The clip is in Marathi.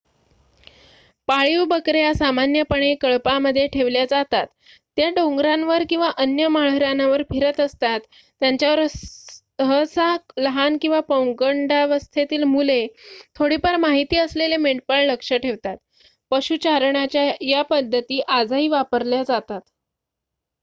पाळीव बकऱ्या सामान्यपणे कळपामध्ये ठेवल्या जातात त्या डोंगरांवर किंवा अन्य माळरानावर फिरत असतात त्यांच्यावर सहसा लहान किंवा पौगंडावस्थेतील मुले थोडीफार माहिती असलेले मेंढपाळ लक्ष ठेवतात पशुचारणाच्या या पद्धती आजही वापरल्या जातात